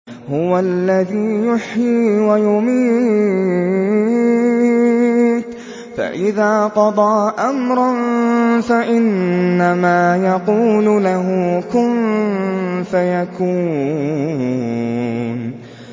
هُوَ الَّذِي يُحْيِي وَيُمِيتُ ۖ فَإِذَا قَضَىٰ أَمْرًا فَإِنَّمَا يَقُولُ لَهُ كُن فَيَكُونُ